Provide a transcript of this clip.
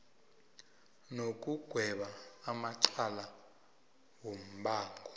nokugweba amacala wombango